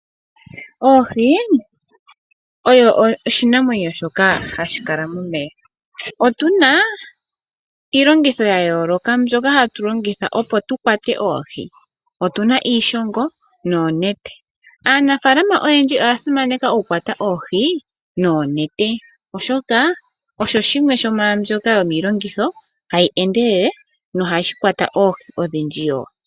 Oohi odho oshinamwenyo shoka hashi kala momeya, otuna iilongitho ya yooloka mbyoka hayi longitha opo tu kwate oohi otuna iishongo noonete. Aanafaalama oyendji oya simaneka oku yuula oohi noonete oshoka odho dhimwe hadhi endelele nohadhi kwata oohi odhindji wo pethimbo limwe.